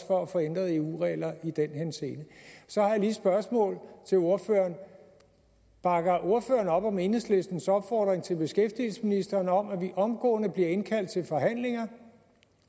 for at få ændret eu regler i den henseende så har jeg lige et spørgsmål til ordføreren bakker ordføreren op om enhedslistens opfordring til beskæftigelsesministeren om at vi omgående bliver indkaldt til forhandlinger